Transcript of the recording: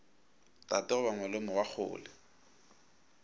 tate goba malome wa kgole